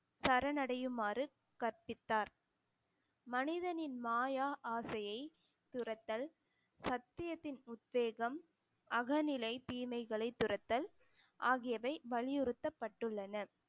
சரணடையுமாறு கற்பித்தார் மனிதனின் மாயா ஆசையை துரத்தல், சத்தியத்தின் உத்வேகம், அகநிலை தீமைகளைத் துரத்தல் ஆகியவை வலியுறுத்தப்பட்டுள்ளன